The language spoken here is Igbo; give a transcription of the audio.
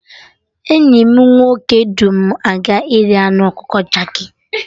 Enyi m nwoke du m aga iri anụ ọkụkọ jerki